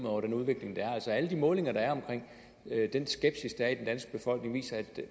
over den udvikling der er altså alle de målinger der er af den skepsis der er i den danske befolkning viser at